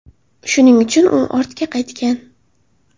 Shuning uchun u ortga qaytgan.